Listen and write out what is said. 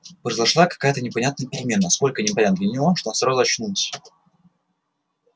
произошла какая-то непонятная перемена настолько непонятная для него что он сразу очнулся